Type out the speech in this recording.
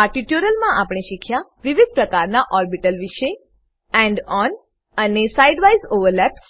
આ ટ્યુટોરીયલ માં આપણે શીખ્યા વિવિધ પ્રકારના ઓર્બીટલ વિષે end ઓન અને side વાઇઝ ઓવરલેપ્સ